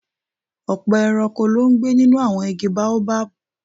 Ọ̀pọ̀ ẹranko ló ń gbé nínú àwọn igi Baobab